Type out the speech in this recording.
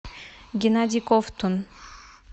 геннадий ковтун